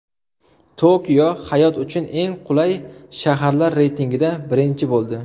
Tokio hayot uchun eng qulay shaharlar reytingida birinchi bo‘ldi.